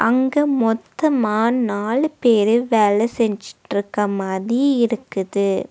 அங்க மொத்தமா நாலு பேரு வேல செஞ்சிட்ருக்க மாதி இருக்குது.